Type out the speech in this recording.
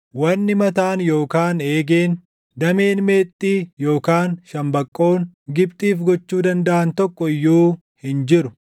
Wanni mataan yookaan eegeen, dameen meexxii // yookaan shambaqqoon, Gibxiif gochuu dandaʼan tokko iyyuu hin jiru.